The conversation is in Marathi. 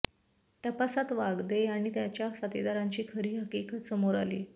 तपासात वागदे आणि त्याच्या साथीदारांची खरी हकीकत समोर आली